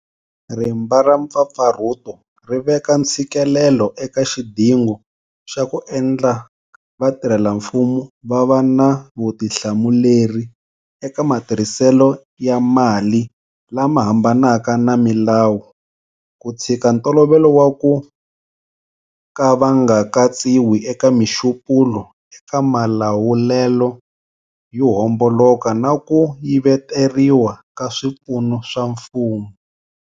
Rimba ra mpfapfarhuto ri veka ntshikelelo eka xidingo xa ku endla vatirhelamfumo va va na vutihlamuleri eka matirhiselo ya mali lama hambanaka na milawu, ku tshika ntolovelo wa ku ka va nga katsiwi eka mixupulo eka malawulelo yo homboloka na ku yiveteriwa ka swipfuno swa mfumo.